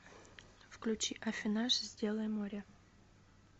включи аффинаж сделай море